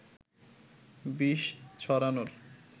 বিষ ছড়ানোর